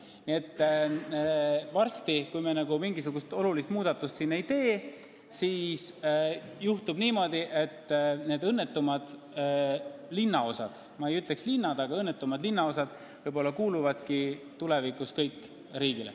Nii et kui me siin mingisugust olulist muudatust ei tee, siis võib juhtuda niimoodi, et need õnnetud linnaosad – ma ei ütleks õnnetud linnad, vaid õnnetud linnaosad – kuuluvadki tulevikus kõik riigile.